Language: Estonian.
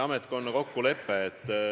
Jürgen Ligi, palun!